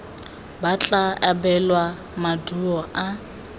ba tla abelwa maduo a